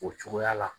O cogoya la